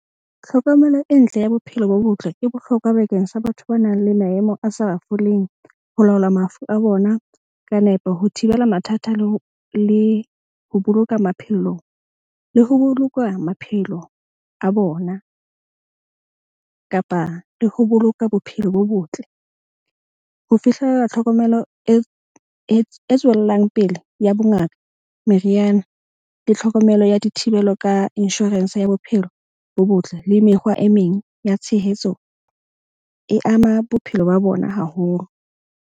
Tlhokomelo e ntle ya bophelo bo botle e bohlokwa bakeng sa batho ba nang le maemo a sa foleng ho laola mafu a bona ka nepo. Ho thibela mathata le ho boloka maphelo le ho boloka maphelo a bona. Kapa le ho boloka bophelo bo botle. Ho fihlela tlhokomelo e tswellang pele ya bongaka, meriana le tlhokomelo ya dithibelo ka insurance ya bophelo, bo botle le mekgwa e meng ya tshehetso e ama bophelo ba bona haholo.